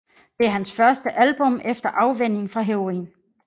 Det er hans første album efter afvænning fra heroin